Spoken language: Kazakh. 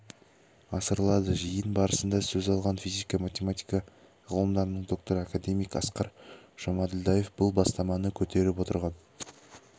асырылады жиын барысында сөз алған физика-математика ғылымдарының докторы академик асқар жұмаділдаев бұл бастаманы көтеріп отырған